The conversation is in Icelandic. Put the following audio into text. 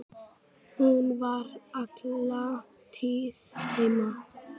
Hún var alla tíð heima.